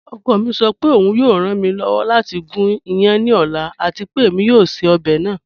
Ọkọ mi sọ pé ọun yọọ ran mi lọ́wọ́ lati gún ìyán ní ọ̀la àti pé èmi yọọ ṣẹ̀ ọbẹ naa.